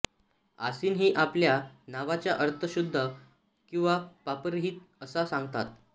असिन ही आपल्या नावाचा अर्थ शुद्ध किंवा पापरहित असा सांगतात